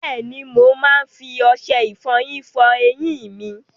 Bẹ́ẹ̀ni, mo máa ń fi ọṣẹ ìfọyín fọ eyín mi.